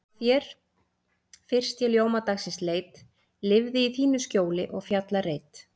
Hjá þér fyrst ég ljóma dagsins leit, lifði í þínu skjóli og fjallareit.